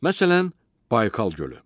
Məsələn, Baykal gölü.